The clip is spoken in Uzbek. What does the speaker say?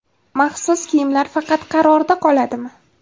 Maxsus kiyimlar faqat qarorda qoladimi?.